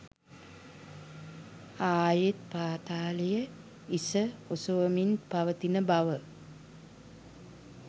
ආයෙත් පාතාලය හිස ඔසවමින් පවතින බව